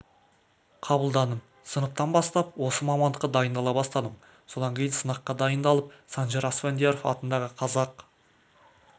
қабылдадым сыныптан бастап осы мамандыққа дайындала бастадым содан кейін сынаққа дайындалып санжар асфендияров атындағы қазақ